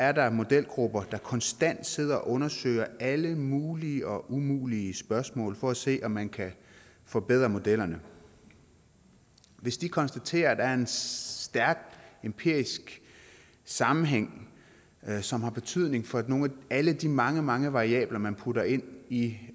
er der modelgrupper der konstant sidder og undersøger alle mulige og umulige spørgsmål for at se om man kan forbedre modellerne hvis de konstaterer at der er en stærk empirisk sammenhæng som har betydning for nogle af alle de mange mange variabler man putter ind i